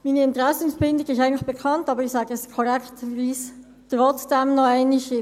Meine Interessenbindung ist eigentlich bekannt, aber ich sage es korrekterweise trotzdem noch einmal.